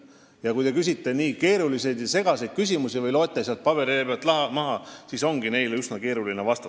Ja kui te küsite nii keerulisi ja segaseid küsimusi või loete sealt paberilehelt maha, siis ongi üsna keeruline vastata.